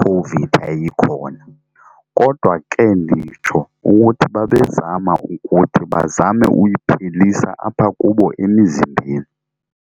COVID yayikhona. Kodwa ke nditsho ukuthi babezama ukuthi bazame uyiphelisa apha kubo emizimbeni.